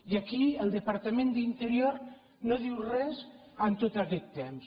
i aquí el departament d’interior no diu res en tot aquest temps